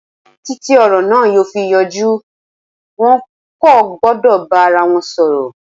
Títí ọ̀rọ̀ na yóò fi yanjú, wọn kò gbọ́dọ̀ bá ara wọn sọ̀rọ̀.